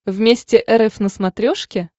вместе эр эф на смотрешке